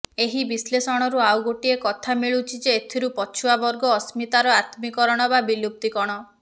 ଏହି ବିଶ୍ଳେଷଣରୁ ଆଉ ଗୋଟିଏ କଥା ମିଳୁଛି ଯେ ଏଥିରୁ ପଛୁଆବର୍ଗ ଅସ୍ମିତାର ଆତ୍ମିକରଣ ବା ବିଲୁପ୍ତିକଣ